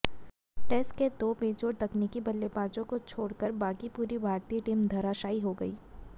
test के दो बेजोड़ तकनीकी बल्लेबाजों को छोड़कर बाकी पूरी भारतीय टीम धराशाई हो गई